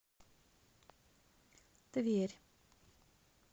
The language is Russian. тверь